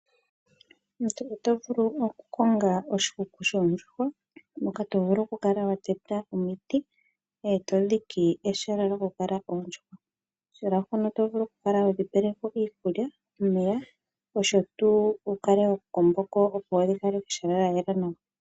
Oto vulu oku konga oshikuku shoondjuhwa moka to vulu oku kala wa teta omiti eto dhike ehala lyoku kala oondjuhwa, ehala mpono to vulu oku kala hodhi pelepo iikulya, omeya osho tuu wu kale ho komboko opo dhi kale pehala lyayela nawa.